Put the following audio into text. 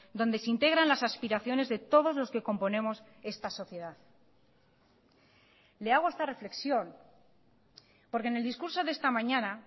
donde se integran las aspiraciones de todos los que componemos esta sociedad le hago esta reflexión porque en el discurso de esta mañana